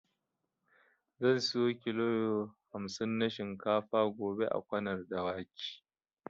Zan siyo kilo hamsin na shinkafa gobe a Kwanar Dawaki.